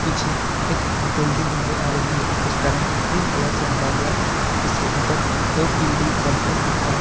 पीछे एक बिल्डिंग नजर आ रही है उसका रंग ग्रीन कलर से रंगा गया है इसके ऊपर ओ_पी_डी कॉम्प्लेक्स लिखा हुआ--